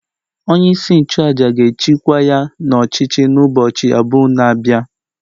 Onye-isi-nchu-àjà gēchi kwa ya n'ọchichi n'ubọchi abụ na bịa